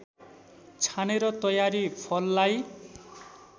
छानेर तयारी फललाई